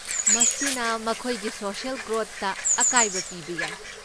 ꯃꯁꯤꯅ ꯃꯈꯣꯏꯒꯤ ꯁꯣꯁꯤꯑꯦꯜ ꯒ꯭ꯔꯣꯠꯇ ꯑꯀꯥꯏꯕ ꯄꯤꯕ ꯌꯥꯏ꯫